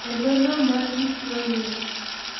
E dho nam mar Victoria,